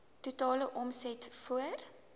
totale omset voor